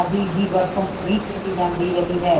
ਆਦਿ ਦੀ ਵਰਤੋਂ ਵੀ ਕੀਤੀ ਜਾਂਦੀ ਰਹੀ ਹੈ